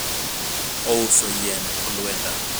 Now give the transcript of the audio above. ouso yiend olwenda